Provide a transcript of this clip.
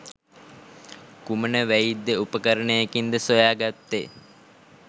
කුමන වෛද්‍ය උපකරණයකින්ද සොයාගත්තේ?